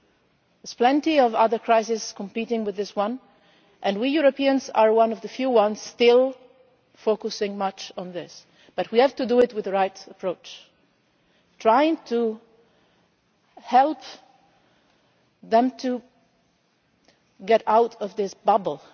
There are plenty of other crises competing with this one, and we Europeans are one of the few still focusing very much on this. But we have to do it with the right approach trying to help them to get out of this bubble.